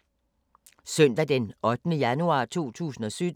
Søndag d. 8. januar 2017